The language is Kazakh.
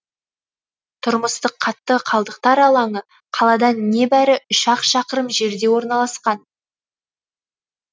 тұрмыстық қатты қалдықтар алаңы қаладан небәрі үш ақ шақырым жерде орналасқан